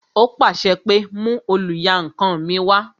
Ó pàṣẹ pé "mú oluyankan mi wá"